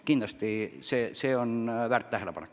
Kindlasti see on väärt tähelepanek.